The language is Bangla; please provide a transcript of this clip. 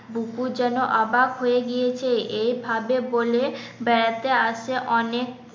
বুকু যেন অবাক হয়ে গিয়েছে এভাবে বলে বেড়াতে আসে অনেক